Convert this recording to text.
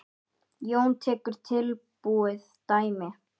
Jón tekur tilbúið dæmi.